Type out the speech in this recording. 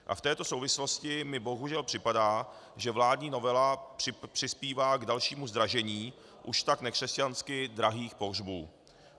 A v této souvislosti mi bohužel připadá, že vládní novela přispívá k dalšímu zdražení už tak nekřesťansky drahých pohřbů.